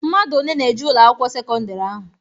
Mmadụ one na-eje Ụlọ akwụkwọ sekọndrị ahụ?